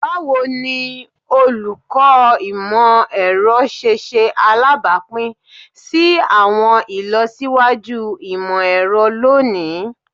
Bawo ni Oluko Imọ-ẹrọ ṣe ṣe alabapin si awọn ilọsiwaju imọ-ẹrọ loni?